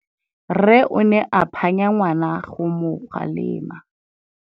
Rre o ne a phanya ngwana go mo galemela.